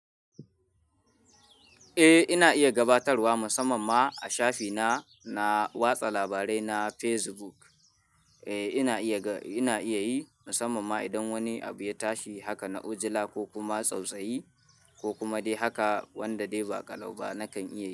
Eh ina iya gabatarwa musamman ma a shafi na, na watsa labarai na Facebook. Eh ina iya, ina iya yi musamman ma idan wani abu ya tashi haka na ujila, ko kuma tsautsayi, ko kuma dai haka, wanda dai ba ƙalau ba, nakan iya yi.